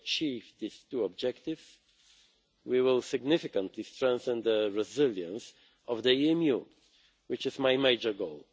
If we achieve these two objectives, we will significantly strengthen the resilience of the EMU, which is my major goal.